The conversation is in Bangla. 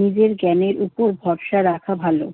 নিজের জ্ঞানের উপর ভরসা রাখা ভালো।